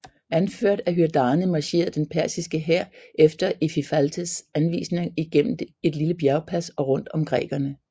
Anført af Hydarne marcherede den persiske hær efter Ephialtes anvisninger igennem et lille bjergpas og rundt om grækerne